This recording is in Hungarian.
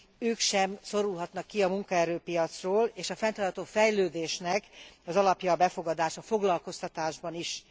Ők sem szorulhatnak ki a munkaerőpiacról, és a fenntartható fejlődésnek az alapja a befogadás a foglalkoztatásban is.